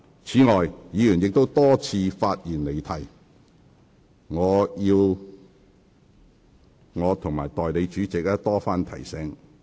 此外，議員亦多次發言離題，我和代理主席須多番提醒。